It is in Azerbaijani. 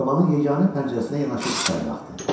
Komanın yeganə pəncərəsinə yanaşıb içəri baxdı.